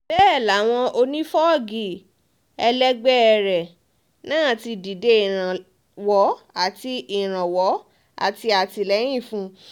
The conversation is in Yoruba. bẹ́ẹ̀ làwọn onífọ́gi ẹlẹgbẹ́ rẹ̀ náà ti dìde ìrànwọ́ àti ìrànwọ́ àti àtìlẹ́yìn fún un